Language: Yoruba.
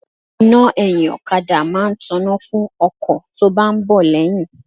Iná ẹyin okada máa ń tona fún ọkọ̀ tó bá ń bọ̀ lẹ́yìn.